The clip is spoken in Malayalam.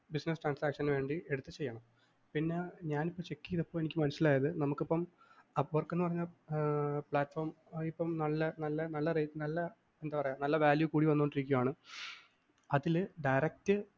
business transaction വേണ്ടി എടുത്ത് ചെയ്യണം. പിന്നെ ഞാന്‍ ഇപ്പ check ചെയ്തപ്പോ എനിക്ക് മനസ്സിലായത് നമുക്കിപ്പം appork എന്ന് പറഞ്ഞ platform ഇപ്പം നല്ല നല്ല നല്ല rate നല്ല എന്താ പറയുക നല്ല value കൂടി വന്നുകൊണ്ടിരിക്കയാണ് അതില് direct